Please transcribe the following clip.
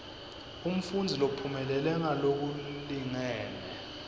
umfundzi lophumelele ngalokulingene